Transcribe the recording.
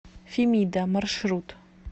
фемида маршрут